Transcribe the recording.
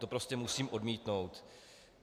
To prostě musím odmítnout.